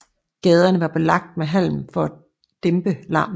Gaderne var belagt med halm for at dæmpe larmen